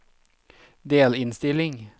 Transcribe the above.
delinnstilling